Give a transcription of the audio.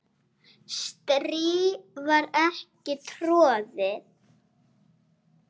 strý var ekki troðið